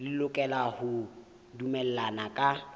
le lokela ho dumellana ka